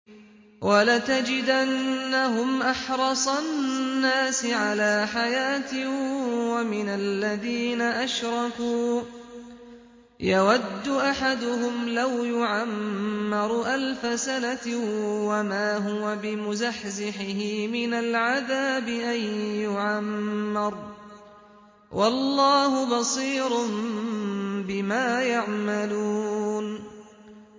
وَلَتَجِدَنَّهُمْ أَحْرَصَ النَّاسِ عَلَىٰ حَيَاةٍ وَمِنَ الَّذِينَ أَشْرَكُوا ۚ يَوَدُّ أَحَدُهُمْ لَوْ يُعَمَّرُ أَلْفَ سَنَةٍ وَمَا هُوَ بِمُزَحْزِحِهِ مِنَ الْعَذَابِ أَن يُعَمَّرَ ۗ وَاللَّهُ بَصِيرٌ بِمَا يَعْمَلُونَ